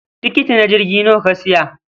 Tikiti na jirgi nawa ka siya?